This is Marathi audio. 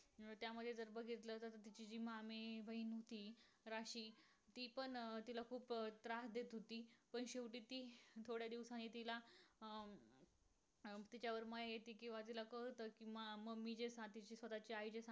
तिची जी मामे बहिण आहे राशी. ती पण तिला खूप त्रास देत होती पण शेवटी ती थोड्या दिवसानी तिला अं तिच्या कळत कि mummy जे सांगते ते